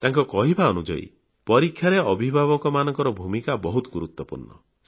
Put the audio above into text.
ତାଙ୍କ କହିବା ଅନୁଯାୟୀ ପରୀକ୍ଷାରେ ଅଭିଭାବକମାନଙ୍କ ଭୂମିକା ବହୁତ ଗୁରୁତ୍ୱପୂର୍ଣ୍ଣ